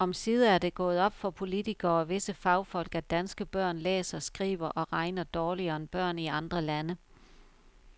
Omsider er det gået op for politikere og visse fagfolk, at danske børn læser, skriver og regner dårligere end børn i andre lande.